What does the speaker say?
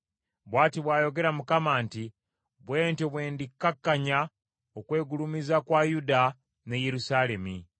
“Bw’ati bw’ayogera Mukama nti, ‘Bwe ntyo bwe ndikkakkanya okwegulumiza kwa Yuda ne Yerusaalemi.